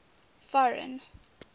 foreign